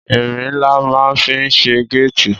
Ìrín là mà ń fi sẹ gẹtì